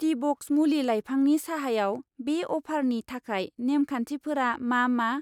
टिब'क्स मुलि लाइफांनि साहायाव बे अफारनि थाखाय नेम खान्थिफोरा मा मा?